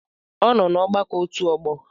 Ọnọ n'agbakọ otu ọgbọ?